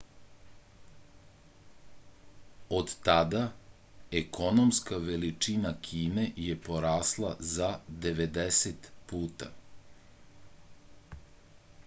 od tada ekonomska veličina kine je porasla za 90 puta